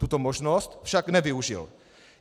Tuto možnost však nevyužil.